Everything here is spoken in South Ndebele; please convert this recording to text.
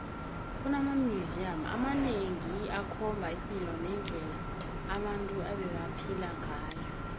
kunama museum amanengi akhomba ipilo nendle abantu ebebaphela ngayo